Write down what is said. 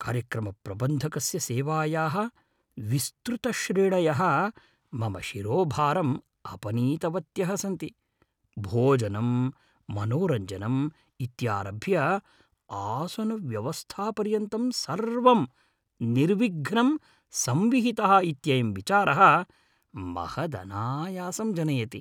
कार्यक्रमप्रबन्धकस्य सेवायाः विस्तृतश्रेणयः मम शिरोभारम् अपनीतवत्यः सन्ति, भोजनम्, मनोरञ्जनम् इत्यारभ्य आसनव्यवस्थापर्यन्तं सर्वं निर्विघ्नं संविहितः इत्ययं विचारः महदनायासं जनयति।